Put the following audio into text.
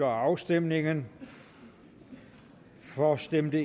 afstemningen for stemte